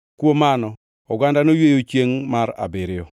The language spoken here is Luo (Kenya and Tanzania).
Kuom mano oganda noyweyo chiengʼ mar abiriyo.